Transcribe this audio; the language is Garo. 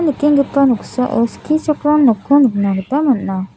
nikenggipa noksao skichakram nokko nikna gita man·a.